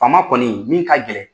Faama kɔni, min ka gɛlɛn.